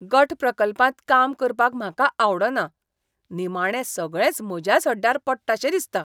गट प्रकल्पांत काम करपाक म्हाका आवडना, निमाणें सगळेंच म्हज्याच हड्ड्यार पडटाशें दिसता.